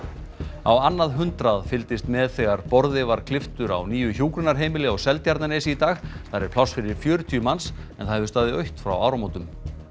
á annað hundrað fylgdist með þegar borði var klipptur á nýju hjúkrunarheimili á Seltjarnarnesi í dag þar er pláss fyrir fjörutíu manns en það hefur staðið autt frá áramótum